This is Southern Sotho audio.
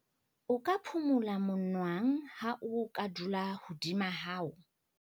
o ka phubula monwang ha o ka dula hodima hao